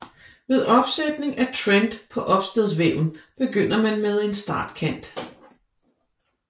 Ved opsætning af trend på opstadsvæven begynder man med en startkant